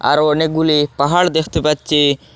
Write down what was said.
আরও অনেকগুলি পাহাড় দেখতে পাচ্ছি।